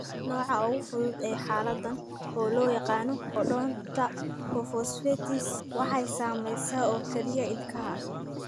Nooca ugu fudud ee xaaladdan, oo loo yaqaan odontohypophosphatasia, waxay saamaysaa oo keliya ilkaha.